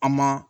An ma